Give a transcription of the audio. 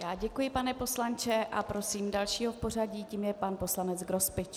Já děkuji, pane poslanče, a prosím dalšího v pořadí, tím je pan poslanec Grospič.